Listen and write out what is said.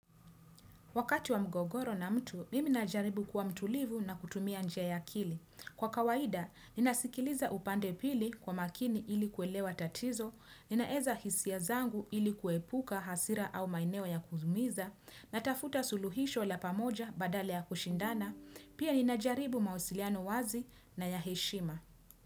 Wakati wa mgogoro na mtu, mimi najaribu kuwa mtulivu na kutumia njia ya ya akili. Kwa kawaida, ninasikiliza upande pili kwa makini ili kuelewa tatizo, ninaeza hisia zangu ili kuepuka hasira au maeneo ya kuziumiza, natafuta suluhisho la pamoja badale ya kushindana, pia ninajaribu mausiliano wazi na ya heshima.